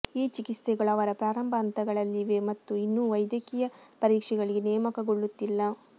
ಈ ಚಿಕಿತ್ಸೆಗಳು ಅವರ ಪ್ರಾರಂಭ ಹಂತಗಳಲ್ಲಿವೆ ಮತ್ತು ಇನ್ನೂ ವೈದ್ಯಕೀಯ ಪರೀಕ್ಷೆಗಳಿಗೆ ನೇಮಕಗೊಳ್ಳುತ್ತಿಲ್ಲ